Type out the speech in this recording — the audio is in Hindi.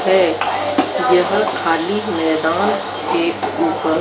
यहां खाली मैदान हैं ऊपर--